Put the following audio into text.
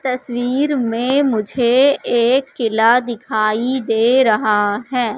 तस्वीर में मुझे एक किला दिखाई दे रहा है।